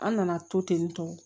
An nana to ten tɔ